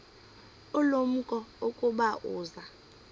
ulumko ukuba uza